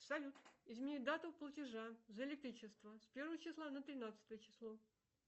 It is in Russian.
салют измени дату платежа за электричество с первого числа на тринадцатое число